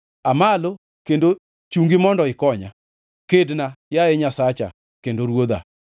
Aa malo, kendo chungi mondo ikonya! Kedna, yaye Nyasacha kendo Ruodha.